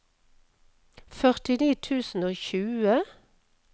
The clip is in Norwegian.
førtini tusen og tjue